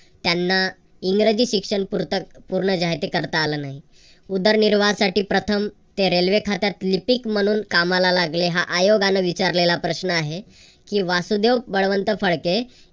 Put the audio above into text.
त्यांना इंग्रजी शिक्षण पुरत पूर्ण जे आहे ते करता आलं नाही. उदरनिर्वाहासाठी प्रथम ते रेल्वे रेल्वे खात्यात लिपिक म्हणून कामाला लागले हा आयोगान विचारलेला प्रश्न आहे. कि वासुदेव बळवंत फडके